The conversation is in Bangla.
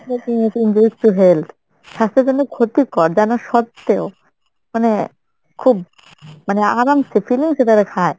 smoking is injurious to health. স্বাস্থ্যের জন্য ক্ষতিকর জানা সত্ত্বেও মানে খুব আরামসে feelings এ তারা খায়